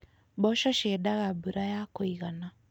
Mboco ciendaga mbura ya kũigana.